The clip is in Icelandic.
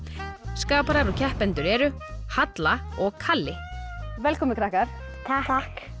skaparar og keppendur eru halla og kalli velkomin krakkar takk